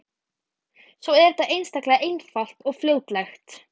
Svo er það einstaklega einfalt og fljótlegt.